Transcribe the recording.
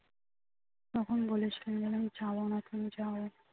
তখন বলেছিলো আমি যাবোনা তুমি যাও